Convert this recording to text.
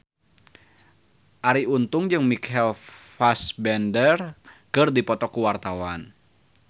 Arie Untung jeung Michael Fassbender keur dipoto ku wartawan